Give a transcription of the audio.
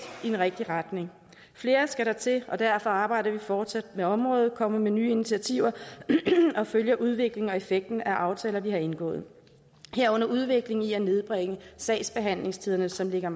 i den rigtige retning flere skal der til og derfor arbejder vi fortsat med området kommer med nye initiativer og følger udviklingen og effekten af aftaler vi har indgået herunder udviklingen i at nedbringe sagsbehandlingstiderne som ligger